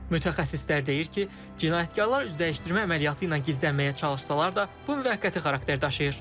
Mütəxəssislər deyir ki, cinayətkarlar üz dəyişdirmə əməliyyatı ilə gizlənməyə çalışsalar da, bu müvəqqəti xarakter daşıyır.